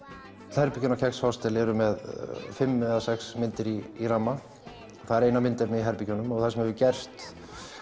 öll herbergin á kex eru með fimm eða sex myndir í ramma það er eina myndefnið í herbergjunum og það sem hefur gerst